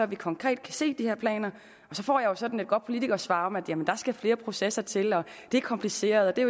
vi konkret kan se de her planer og så får jeg sådan et godt politikersvar om at der skal flere processer til det er kompliceret det er